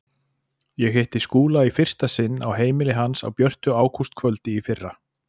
Ég hitti Skúla í fyrsta sinn á heimili hans á björtu ágústkvöldi í fyrra.